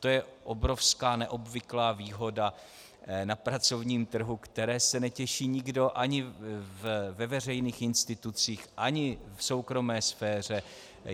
To je obrovská, neobvyklá výhoda na pracovním trhu, které se netěší nikdo ani ve veřejných institucích, ani v soukromé sféře.